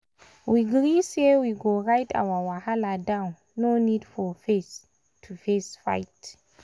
we gree say we go write our wahala down no need for face-to-face fight.